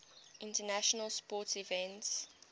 international sports events